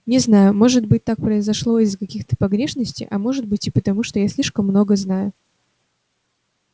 не знаю может быть так произошло из-за каких-то погрешностей а может быть и потому что я слишком много знаю